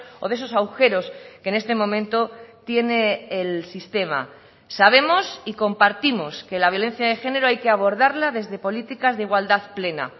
o de esos agujeros que en este momento tiene el sistema sabemos y compartimos que la violencia de género hay que abordarla desde políticas de igualdad plena